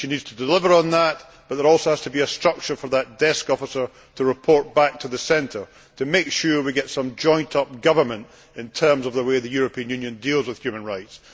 She needs to deliver on that, but there also has to be a structure for that desk officer to report back to the centre, to make sure we get some joined up government in terms of the way the European Union deals with human rights.